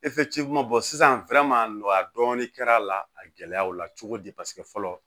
sisan nɔgɔya dɔɔnin kɛra a la a gɛlɛyaw la cogo di paseke fɔlɔ